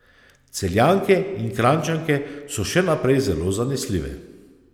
Celjanke in Kranjčanke so še naprej zelo zanesljive.